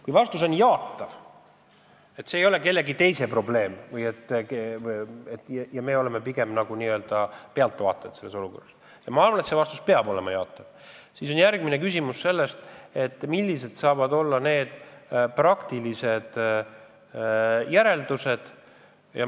Kui vastus on jaatav, st me leiame, et see ei ole kellegi teise probleem ja me ei ole pigem nagu pealtvaatajad selles olukorras – ja ma arvan, et see vastus peab olema jaatav –, siis on järgmine küsimus, millised saavad olla praktilised järeldused.